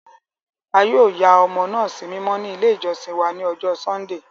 A yoo ya ọmọ naa simimọ ni ile ijọsin wa ni ọjọ Sundee.